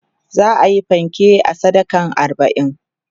za'ayi fanke a sadakan arbain